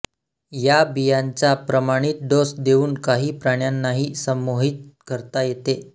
या बियांचा प्रमाणित डोस देऊन काही प्राण्यांनाही संमोहित करता येते